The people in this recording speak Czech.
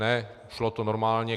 Ne, šlo to normálně.